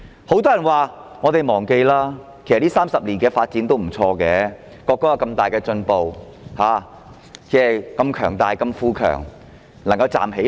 很多人叫大家忘記過去，表示國家在這30年的發展其實不錯，有很大的進步，如此強大、富強，終於可以站起來。